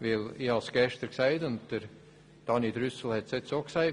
Ich sagte es gestern, und Grossrat Trüssel hat es eben auch gesagt: